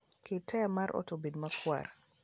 ket taya mar ot obed makwar